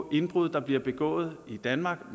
indbrud der bliver begået i danmark